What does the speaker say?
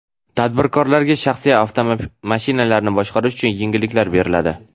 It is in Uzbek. Tadbirkorlarga shaxsiy avtomashinalarini boshqarish uchun yengilliklar beriladi.